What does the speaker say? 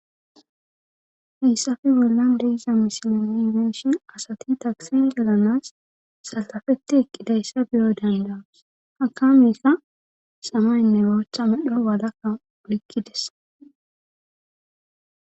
fiissafe bollan deiza misilolimeshin asati taksi delanas sallafeti eqqidayssa biyo dandaus hakamekka samaynne oocha medho walakka oykkides